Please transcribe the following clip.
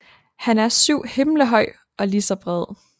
Han er syv himle høj og lige så bred